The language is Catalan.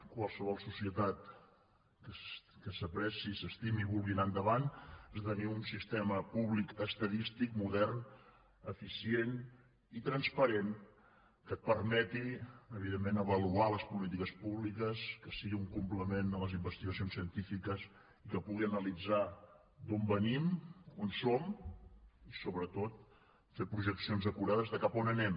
qualsevol societat que s’apreciï s’estimi i vulgui anar endavant ha de tenir un sistema públic estadístic modern eficient i transparent que et permeti evidentment avaluar les polítiques públiques que sigui un complement per a les investigacions científiques i que pugui analitzar d’on venim on som i sobretot fer projeccions acurades de cap on anem